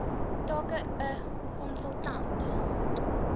take n konsultant